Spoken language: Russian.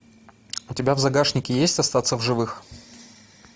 у тебя в загашнике есть остаться в живых